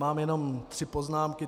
Mám jenom tři poznámky.